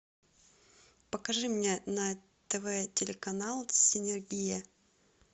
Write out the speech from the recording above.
покажи мне на тв телеканал синергия